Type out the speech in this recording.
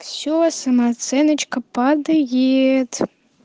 все самооценочка падает